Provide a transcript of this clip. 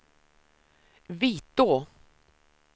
Vitå